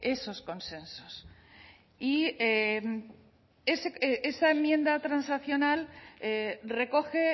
esos consensos y en esa enmienda transaccional recoge